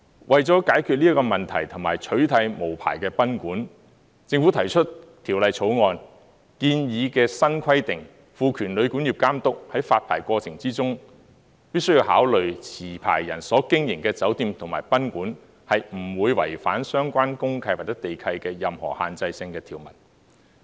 為了解決這個問題及取締無牌賓館，政府提出《條例草案》建議的新規定，賦權旅館業監督在發牌過程中，必須考慮持牌人所經營的酒店及賓館，不會違反相關公契或地契的任何限制性條文。